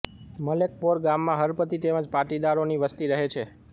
મલેકપોર ગામમાં હળપતિ તેમ જ પાટીદારોની વસ્તી રહે છે